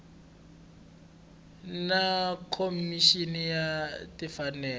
na khomixini ya timfanelo ta